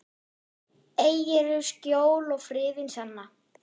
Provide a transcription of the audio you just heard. Eigirðu skjól og friðinn sanna.